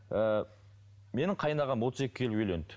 ыыы менің қайынағам отыз екіге келіп үйленді